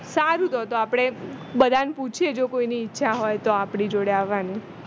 સારું તો તો આપણે બધાને પુછિયે જ જો કોઈ ની ઈચ્છા હોય તો આપણી જોડે આવવાની